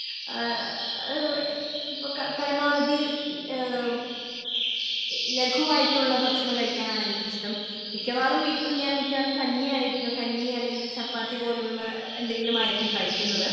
ഏഹ് ഏഹ് ഇപ്പൊ ക പരമാവധി ഈ ഏഹ്മ് എ ലഘുവായിട്ടുള്ള ഭക്ഷണം കഴിക്കാനാണ് എനിക്കിഷ്ട്ടം മിക്കവാറും വീട്ടിൽ ഞാൻ മിക്കവാറും കഞ്ഞിയായിരിക്കും കഞ്ഞി അല്ലെങ്കിൽ ചപ്പാത്തി പോലുള്ള എന്തെങ്കിലുമായിരിക്കും കഴിക്കുന്നത്.